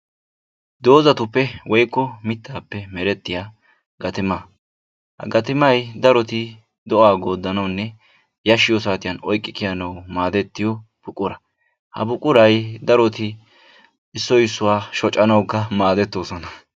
Dozatuppe woyikko mittaappe merettiya gatima. Ha gatimay darotoo do'aa gooddanawunne yashshiyo saatiyan oyikki kiyanawu maadettiyo buqura. Ha buquray daroti issoy issuwa shocanawukka maadettoosona.